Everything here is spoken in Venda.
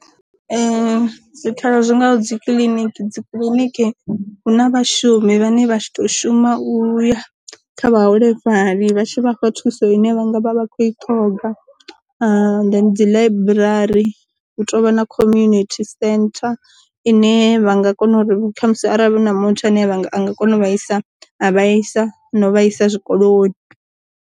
Zwikhala zwi ngaho dzi kiliniki, dzi kiḽiniki huna vha shumi vhane vha tshi to shuma u ya kha vha holefhali vha tshi vha fha thuso ine vhanga vha vha khou i ṱhoga, dzi ḽaiburari hu tovha na community centre ine vha nga kona uri khamusi arali na muthu ane a nga kona u isa a vhaisa no vhaisa zwikoloni.